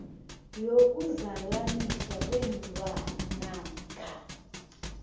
yokuzalaniswa kweenlwana namkha